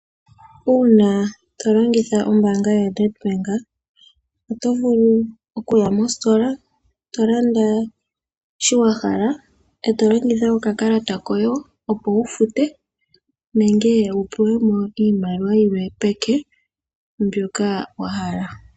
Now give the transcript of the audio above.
Uuna tolongitha ombanga yoNedbank oto vulu okuya mositola tolanda shi wahala etolongitha okakalata koye opo wu fute nenge wu pulemo iimaliwa yilwe peke mbyoka wahala.